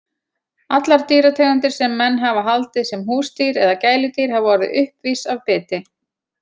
Allar dýrategundir sem menn hafa haldið sem húsdýr eða gæludýr hafa orðið uppvís af biti.